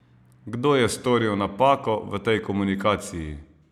Kdo je storil napako v tej komunikaciji?